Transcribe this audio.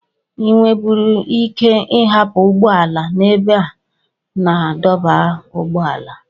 Ị nweburu ike hapụ ụgbọ ala n'ebe a na-adọba ụgbọala